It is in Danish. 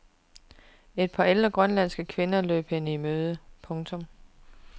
Et par ældre grønlandske kvinder løb hende i møde. punktum